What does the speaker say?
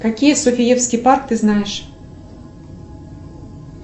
какие софиевские парки ты знаешь